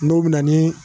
N'o bɛ na ni